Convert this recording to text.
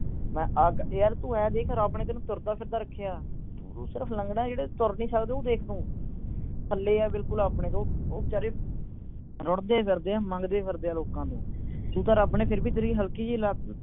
ਯਾਰ ਤੂੰ ਇਹ ਦੇਖ ਰੱਬ ਨੇ ਤੈਨੂੰ ਤੁਰਦਾ ਫਿਰਦਾ ਰੱਖਿਆ। ਤੂੰ ਸਿਰਫ ਲੰਗੜਾ, ਜਿਹੜੇ ਤੁਰ ਨਹੀਂ ਸਕਦੇ, ਉਹ ਦੇਖ ਤੂੰ। ਥੱਲੇ ਆ ਬਿਲਕੁਲ ਵਿਚਾਰੇ, ਉਹ ਰੁੜਦੇ ਫਿਰਦੇ ਆ, ਮੰਗਦੇ ਫਿਰਦੇ ਆ ਲੋਕਾਂ ਤੋਂ। ਤੇਰੀ ਤਾਂ ਰੱਬ ਨੇ ਫਿਰ ਵੀ ਹਲਕੀ ਜਿਹੀ ਲੱਤ